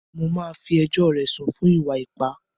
Màá fí ẹjọ́ rẹ̀ sùn fún ìwà ipá!